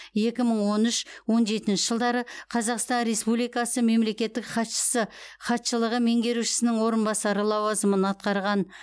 екі мың он үш он жетінші жылдары қазақстан республикасы мемлекеттік хатшысы хатшылығы меңгерушісінің орынбасары лауазымын атқарған